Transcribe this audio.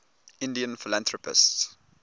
indian philanthropists